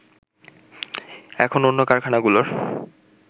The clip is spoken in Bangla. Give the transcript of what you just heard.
এখন অন্য কারখানাগুলোর